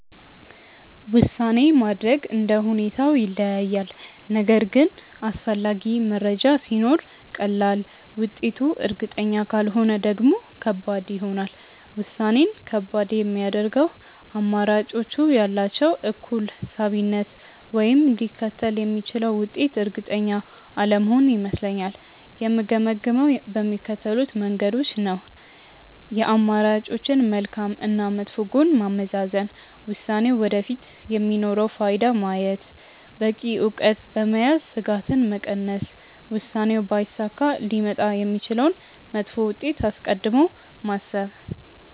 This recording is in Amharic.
ውሳኔ ማድረግ እንደ ሁኔታው ይለያያል፤ ነገር ግን አስፈላጊ መረጃ ሲኖር ቀላል፣ ውጤቱ እርግጠኛ ካልሆነ ደግሞ ከባድ ይሆናል። ውሳኔን ከባድ የሚያደርገው አማራጮቹ ያላቸው እኩል ሳቢነት ወይም ሊከተል የሚችለው ውጤት እርግጠኛ አለመሆን ይመስለኛል። የምገመግመው በሚከተሉት መንገዶች ነው፦ የአማራጮችን መልካም እና መጥፎ ጎን ማመዛዘን፣ ውሳኔው ወደፊት የሚኖረውን ፋይዳ ማየት፣ በቂ እውቀት በመያዝ ስጋትን መቀነስ፣ ውሳኔው ባይሳካ ሊመጣ የሚችለውን መጥፎ ውጤት አስቀድሞ ማሰብ።